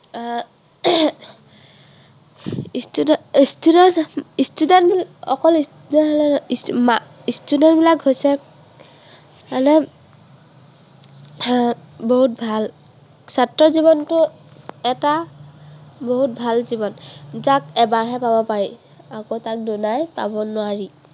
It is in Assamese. student life হৈছে মানে আহ বহুত ভাল। ছাত্ৰ জীৱনটো এটা বহুত ভাল জীৱন। যাক এবাৰ হে পাব পাৰি। আকো তাক দুনাই পাব নোৱৰি।